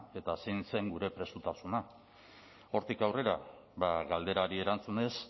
eta zein zen gure prestutasuna hortik aurrera ba galderari erantzunez